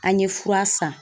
An ye fura san.